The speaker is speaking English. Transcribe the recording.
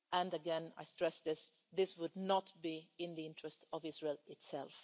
Again, I stress this this would not be in the interests of Israel itself.